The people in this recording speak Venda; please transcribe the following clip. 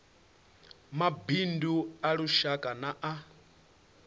mabindu a lushaka na a